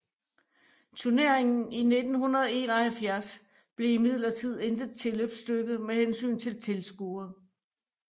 Turneringen i 1971 blev imidlertid intet tilløbsstykke med hensyn til tilskuere